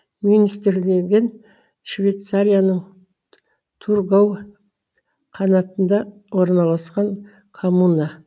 мюнстерлинген швейцарияның тургау қанатында орналасқан коммуна